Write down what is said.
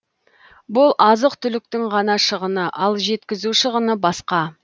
бұл азық түліктің ғана шығыны ал жеткізу шығыны басқа